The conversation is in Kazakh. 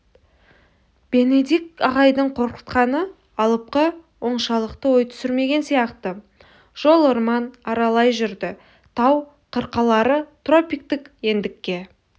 бенедикт ағайдың қорқытқаны алыпқа оншалықты ой түсірмеген сияқты жол орман аралай жүрді тау қырқалары тропиктік ендікке